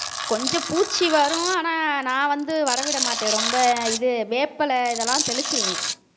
கொஞ்சம் பூச்சி வரும் ஆனா நான் வந்து வர விடமாட்டேன் ரொம்ப இது வேப்பிலை இதெல்லாம் தெளிச்சிருவேன்